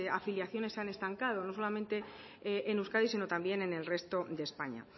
afiliaciones se han estancado no solamente en euskadi sino también en el resto de españa